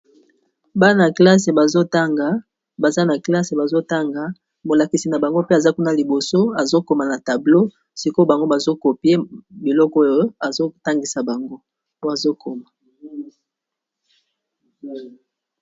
Bana classe bazo tanga baza na classe bazo tanga molakisi na bango mpe aza kuna liboso azo koma na tableau, sikoyo bango bazo copie biloko oyo azo tangisa bango po azo koma.